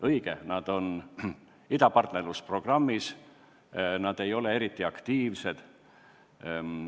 Õige, nad osalevad idapartnerluse programmis, aga nad ei ole eriti aktiivsed.